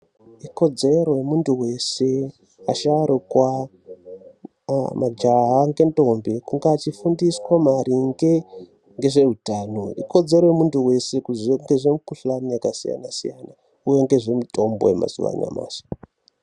Ikodzero yemuntu weshe vasharukwa ajaha ngentombi kunge achifundiwa maringe ngezveutano ikodzero yemuntu weshe kuziya mikuhlani yakasiyana siyana uye ngezvemutombo yemazuwa anyamashi.